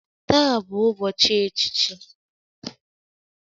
Taa bụ ụbọchị echichi